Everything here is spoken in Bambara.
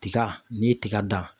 Tiga n'i ye tiga dan.